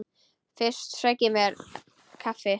Fyrst sæki ég mér kaffi.